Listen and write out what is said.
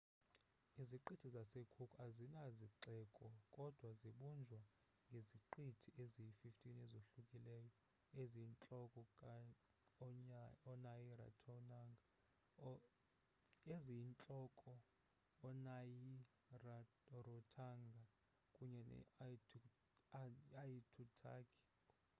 iziqithi zase-cook azina zixeko kodwa zibunjwa ngeziqithi eziyi-15 ezohlukileyo eziyintlokoonayi-rarotonga kunye ne-aitutaki